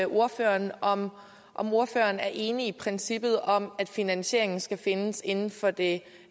ordføreren om ordføreren er enig i princippet om at finansieringen skal findes inden for det